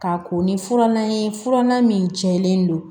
K'a ko ni furanna ye furanna min cɛlen don